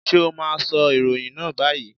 Sé o má a sọ ìròyìn náà báyìí?